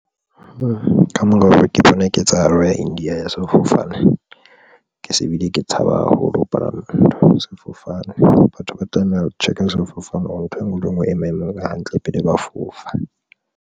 Ka mokgwa oo ke bona ketsahalo ya India ya sefofane. Ke se bile ke tshaba haholo ho palama ntho sefofane. Batho ba tlameha ho check-a sefofane hore ntho enngwe le enngwe e maemong a hantle pele ba fofa.